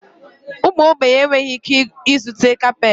Ụmụ ogbenye enweghị ike ịzụta kapeeti.